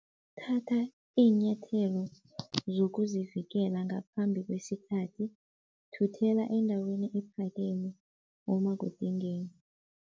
Thatha iinyathelo zokuzivikela ngaphambi kwesikhathi, thuthela endaweni ephakeme uma kudingeka.